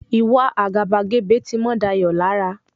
Ìwa àgàbàgebè ti mọ́ Dayọ̀ lára.